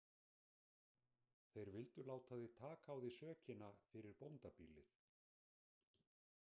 Þeir vildu láta þig taka á þig sökina fyrir bóndabýlið.